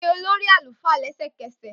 Pe olori alufa lẹsẹkẹsẹ!